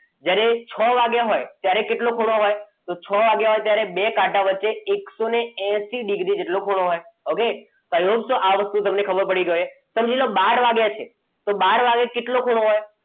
જ્યારે છ વાગ્યા હોય ત્યારે કેટલો ખૂણો હોય? છ વાગ્યા હોય ત્યારે બે કાંટા વચ્ચે એક એકસો એસી ડિગ્રી જેટલો ખૂણો હોય ઓકે okay પહેલા તો આ વસ્તુ તમને ખબર પડવી જોઈએ સમજી લો બાર વાગ્યા છે તો બાર વાગે કેટલો ખૂણો હોય?